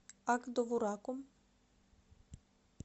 ак довураком